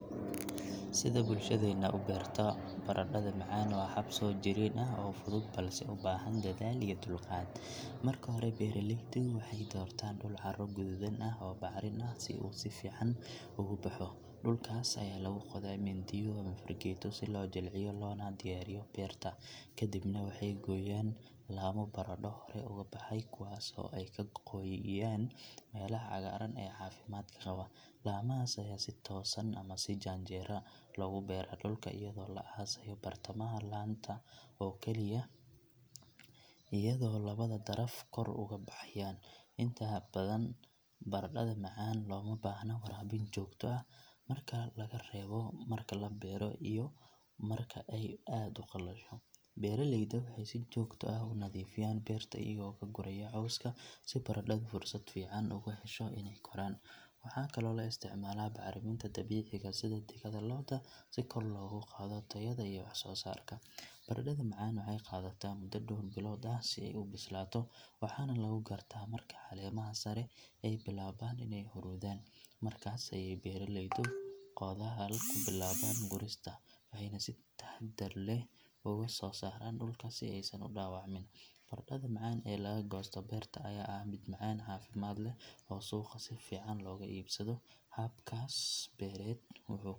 Sida bulshadeenna u beerto baradhada macaan waa hab soo jireen ah oo fudud balse u baahan dadaal iyo dulqaad. Marka hore beeraleydu waxay doortaan dhul carro guduudan ah oo bacrin ah si uu si fiican ugu baxo. Dhulkaas ayaa lagu qodaa mindiyo ama fargeeto si loo jilciyo loona diyaariyo beerta. Kadibna waxay gooyaan laamo baradho hore uga baxay kuwaas oo ay ka gooyaan meelaha cagaaran ee caafimaadka qaba. Laamahaas ayaa si toosan ama si janjeera loogu beeraa dhulka iyadoo la aasayo bartamaha laanta oo kaliya iyadoo labada daraf kor uga baxayaan. Inta badan baradhada macaan looma baahna waraabin joogto ah marka laga reebo marka la beero iyo marka ay aad u qalasho. Beeraleyda waxay si joogto ah u nadiifiyaan beerta iyagoo ka guraya cawska si baradhadu fursad fiican ugu hesho inay koraan. Waxaa kaloo la isticmaalaa bacriminta dabiiciga ah sida digada lo'da si kor loogu qaado tayada iyo wax soo saarka. Baradhada macaan waxay qaadataa muddo dhawr bilood ah si ay u bislaato waxaana lagu gartaa marka caleemaha sare ay bilaabaan inay huruudaan. Markaas ayay beeraleydu qodaal ku bilaabaan gurista, waxayna si taxaddar leh uga soo saaraan dhulka si aysan u dhaawacmin. Baradhada macaan ee laga goosto beerta ayaa ah mid macaan, caafimaad leh oo suuqa si fiican looga iibsado. Habkaas beereed wuxuu.